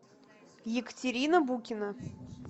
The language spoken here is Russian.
екатерина букина